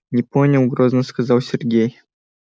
не понял грозно сказал сергей